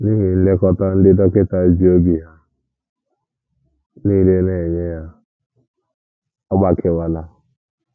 N’ihi nlekọta ndị dọkịta ji obi ha nile na - enye ya, ọ gbakewala.